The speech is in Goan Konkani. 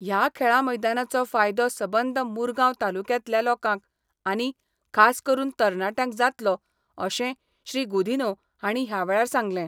हया खेळां मैदानाचो फायदो सबंद मुरगाव तालुक्यातल्या लोकांक आनी खास करून तरणाटयांक जातलो अशें श्री गुदिन्हो हांणी हयावेळार सांगले.